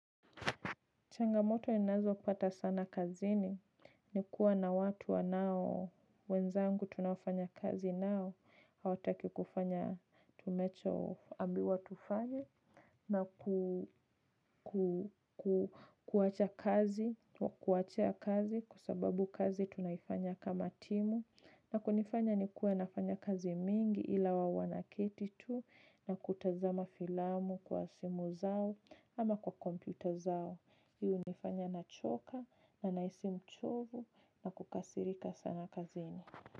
Changamoto ninazo pata sana kazini ni kuwa na watu wanao wenzangu tunafanya kazi nao. Hawataki kufanya tumecho ambiwa tufanye na kuwacha kazi kwa sababu kazi tunaifanya kama timu na kunifanya ni kuwe nafanya kazi mingi ila wao wanaketi tu na kutazama filamu kwa simu zao ama kwa kompyuta zao. Hii hunifanya na choka na nahisi mchovu na kukasirika sana kazini.